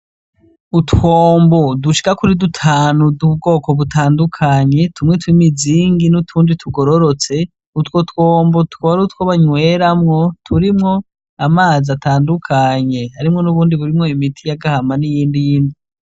Utwombo dushika kuri dutanu tw'ubwoko butandukanye , tumwe tw'imizingi n'utundi tugororotse , utwo twombo n'utwo banyweramwo turimwo amaz'atandukanye harimwo n'ubundi burimwo imiti yagamba n'iyindi yindi.